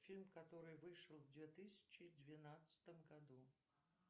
фильм который вышел в две тысячи двенадцатом году